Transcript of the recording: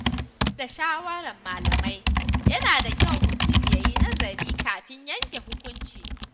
Duk da shawarar malamai, yana da kyau mutum ya yi nazari kafin yanke hukunci.